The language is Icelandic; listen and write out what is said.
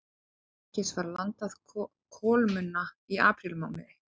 Einungis var landað kolmunna í aprílmánuði